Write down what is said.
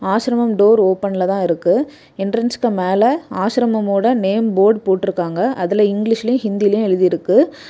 ஆசிரமம் டோர் ஓபன்ல தான் இருக்கு. எண்ட்ரன்ஸ்க்கு மேல ஆசிரமோட நேம் போர்டு போட்டிருக்காங்க. அதுல இங்கிலீஷ்லயு ஹிந்திலையும் எழுதிருக்கு.